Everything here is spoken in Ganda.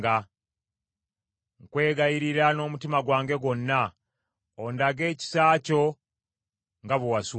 Nkwegayirira n’omutima gwange gwonna, ondage ekisa kyo nga bwe wasuubiza.